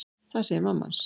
Það segir mamma hans.